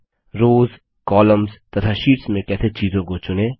rows column तथा sheets में कैसे चीजों को चुनें